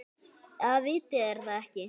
Eða vitið þér það ekki.